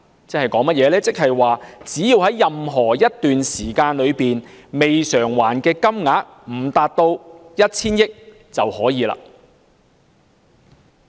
"即是說只要在任何一段時間內，未償還的金額未達 1,000 億元，政府便可繼續發債。